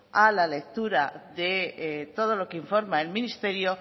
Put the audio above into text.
a la lectura de todo lo que informa el ministerio